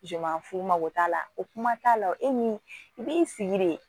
fu mago t'a la o kuma t'a la o min i b'i sigi de